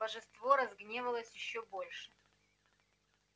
божество разгневалось ещё больше